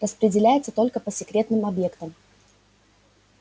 распределяется только по секретным объектам